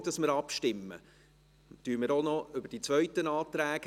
Bevor wir abstimmen, sprechen wir noch über die zweiten Anträge.